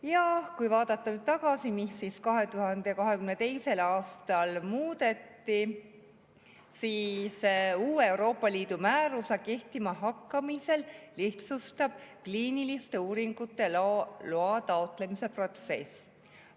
Ja kui vaadata tagasi, mida 2022. aastal muudeti, siis uue Euroopa Liidu määruse kehtima hakkamisel lihtsustub kliiniliste uuringute loa taotlemise protsess.